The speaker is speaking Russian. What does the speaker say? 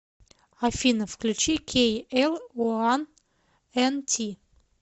афина включи кей эл уан эн ти